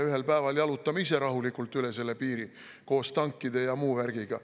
"Ühel päeval jalutame ise rahulikult üle selle piiri koos tankide ja muu värgiga.